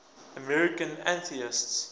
american atheists